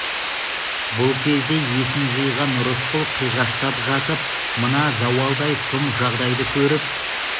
бұл кезде есін жиған рысқұл қиғаштап жатып мына зауалдай сұм жағдайды көріп